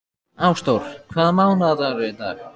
Ásdór, hvaða mánaðardagur er í dag?